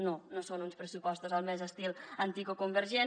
no no són uns pressupostos al més típic estil antic o convergent